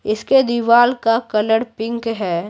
इसके दीवार का कलर पिंक है।